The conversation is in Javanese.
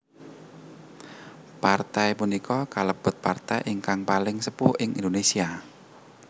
Partai punika kalebet partai ingkang paling sepuh ing Indonesia